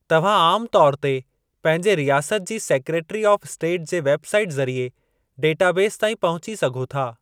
तव्हां आमु तौर ते पंहिंजे रियासत जी सेक्रेटरी ऑफ़ स्टेट जे वेब साईट ज़रिए डेटाबेस ताईं पहुची सघो था।